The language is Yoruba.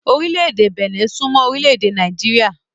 Orile-ede Benin sún mọ́ Orile-ede ède Nàìjíríà.